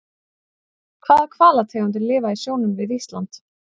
Hvaða hvalategundir lifa í sjónum við Ísland?